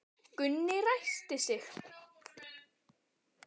Gunni ræskti sig.